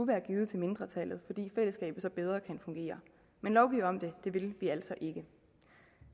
været givet til mindretallet fordi fællesskabet så bedre kan fungere men lovgive om det vil vi altså ikke